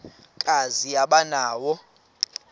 kazi aba nawo